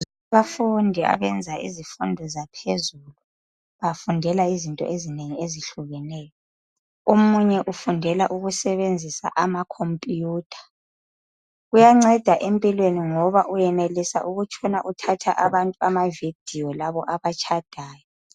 abafundi abenza izifundo zaphezulu bafundela izinto ezinengi ezihlukeneyo omunye ufundela ukusebenzisa ama computer kuyancedaempilweni ngoba uyenelisa ukutshona uthatha abantu ama video labo abatshadayo